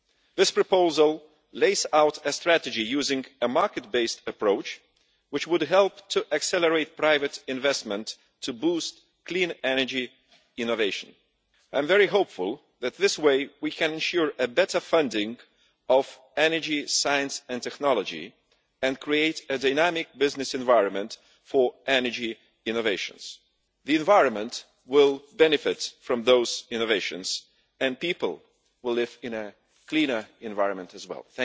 This proposal lays out a strategy using a market based approach, which would help to accelerate private investment to boost clean energy innovation. I am very hopeful that in this way we can ensure a better funding of energy science and technology, and create a dynamic business environment for energy innovations. The environment will benefit from those innovations and people will live in a cleaner environment as well.